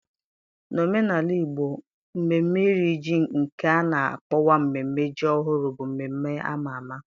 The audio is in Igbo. N'omenala Igbo, mmemme Iri Ji nke a na-akpọkwa mmemme ji ọhụrụ bụ mmemme ama ama.